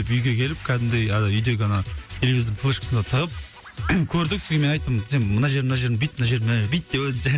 үйге келіп кәдімгідей і үйдегі ана телевизордың флешкасына тығып көрдік содан кейін мен айттым сен мына жерін мына жерін бүйт мына жер мына жерді бүйт деп өзімше